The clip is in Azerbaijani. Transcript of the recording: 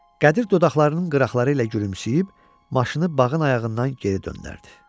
Qədir dodaqlarının qıraqları ilə gülümsüyüb maşını bağın ayağından geri döndərdi.